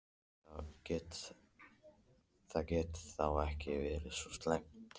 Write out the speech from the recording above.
Það gat þá ekki verið svo slæmt.